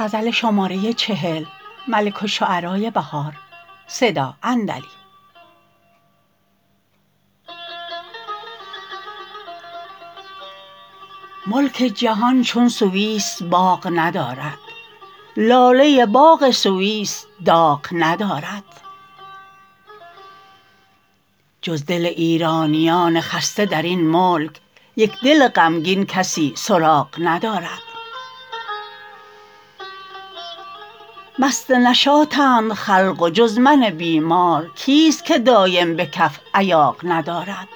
ملک جهان چون سویس باغ ندارد لاله باغ سویس داغ ندارد جز دل ایرانیان خسته درین ملک یک دل غمگین کسی سراغ ندارد مست نشاطند خلق و جز من بیمار کیست که دایم به کف ایاغ ندارد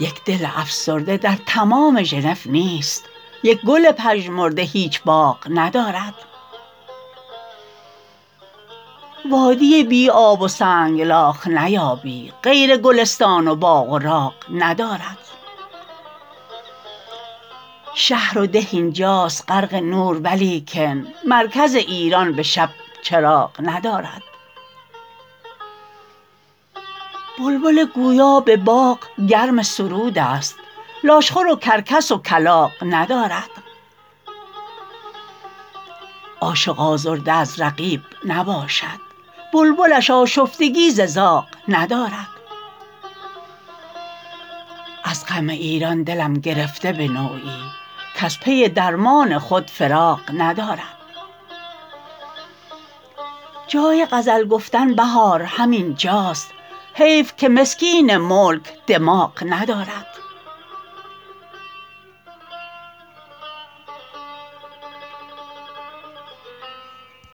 یک دل افسرده در تمام ژنو نیست یک گل پژمرده هیچ باغ ندارد وادی بی آب و سنگلاخ نیابی غیر گلستان و باغ و راغ ندارد شهر و ده اینجاست غرق نور ولیکن مرکز ایران به شب چراغ ندارد بلبل گویا به باغ گرم سرود است لاشخور و کرکس و کلاغ ندارد عاشق آزرده از رقیب نباشد بلبلش آشفتگی ز زاغ ندارد از غم ایران دلم گرفته به نوعی کز پی درمان خود فراغ ندارد جای غزل گفتن بهار همین جاست حیف که مسکین ملک دماغ ندارد